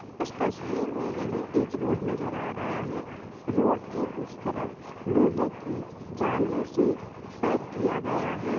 इस तस्वीर में हमें एक रोड रनजर है रोड के उस तरफ लोहे की जलसे पैक की या गया है